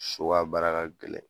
So ka baara ka gɛlɛn